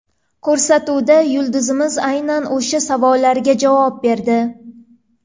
Ko‘rsatuvda yulduzimiz aynan o‘sha savollarga javob berdi.